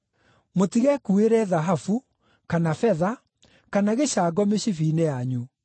Mũtigekuuĩre thahabu, kana betha, kana gĩcango mĩcibi-inĩ yanyu;